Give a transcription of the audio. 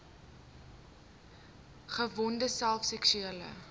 gedwonge self seksuele